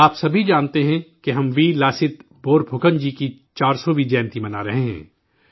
آپ سبھی جانتے ہیں کہ ہم ویر لاست بورپھوکن جی کی 400ویں جینتی منا رہے ہیں